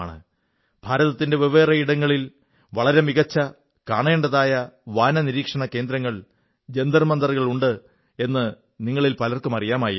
ഭാരതത്തിന്റെ വെവ്വേറെ ഇടങ്ങളിൽ വളരെ മികച്ച കാണേണ്ടതായ വാനനിരീക്ഷണ കേന്ദ്രങ്ങൾ ജന്തർ മന്ദറുകളുണ്ടെന്നു നിങ്ങളിൽ പലർക്കും അറിയമായിരിക്കും